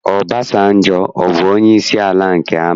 Ọbasanjọ, ọ bụ onyeisi ala nke amị?